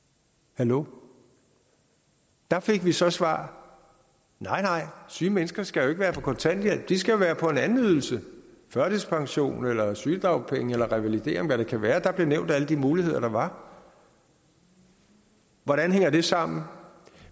hallo der fik vi så svar nej nej syge mennesker skal være på kontanthjælp de skal være på en anden ydelse førtidspension eller sygedagpenge eller revalidering hvad det kan være der blev nævnt alle de muligheder der var hvordan hænger det sammen